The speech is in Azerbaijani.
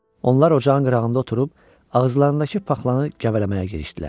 Onlar ocağın qırağında oturub ağızlarındakı paxlanı gəvələməyə girişdilər.